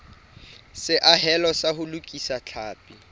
seahelo sa ho lokisa tlhapi